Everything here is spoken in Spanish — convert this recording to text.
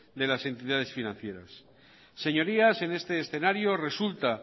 de las entidades financieras señorías en este escenario resulta